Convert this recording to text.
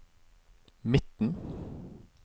midten